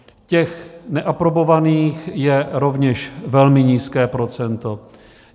Těch neaprobovaných je rovněž velmi nízké procento.